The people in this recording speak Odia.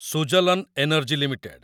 Suzlon energy limited